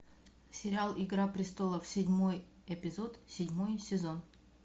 сериал игра престолов седьмой эпизод седьмой сезон